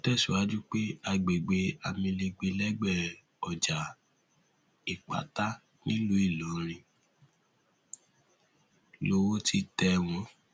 ó tẹsíwájú pé àgbègbè amilegbe lẹgbẹ ọjà ìpátá nílùú ìlọrin lowó ti tẹ wọn